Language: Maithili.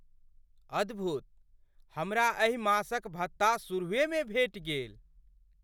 अद्भुत! हमरा एहि मासक भत्ता सुरूहेमे भेटि गेल।